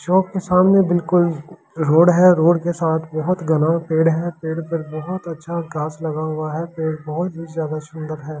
चौक के सामने बिल्कुल रोड है रोड के साथ बहुत घना पेड़ है पेड़ पर बहुत अच्छा घास लगा हुआ है पेड़ बहुत ही ज़्यादा सुंदर है।